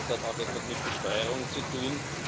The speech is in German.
Das hat auch etwas mit Besteuerung zu tun.